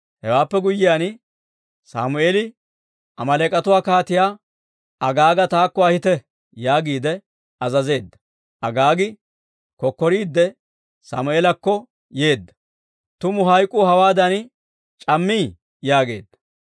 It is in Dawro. Hewaappe guyyiyaan Sammeeli, «Amaaleek'atuwa Kaatiyaa Agaaga taakko ahite» yaagiide azazeedda. Agaagi kokkoriidde Sammeelakko yeedda; «Tumu hayk'k'u hawaadan c'ammii!» yaageedda.